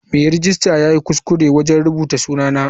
Mai rejista yayi kuskure wajen rubuta sunana.